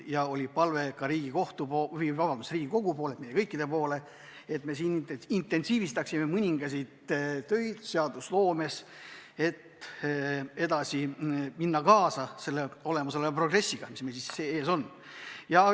Ja tal oli palve ka Riigikogule, meile kõikidele, et me intensiivistaksime mõningaid töid seadusloomes, et minna kaasa selle progressiga, mis meil ees on.